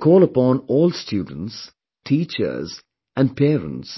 I call upon all students, teachers and parents